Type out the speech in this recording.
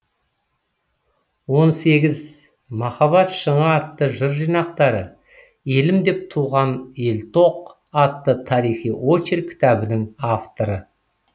он сегіз махаббат шыңы атты жыр жинақтары елім деп туған елтоқ атты тарихи очерк кітабының авторы